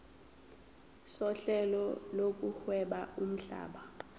sohlelo lokuhweba lomhlaba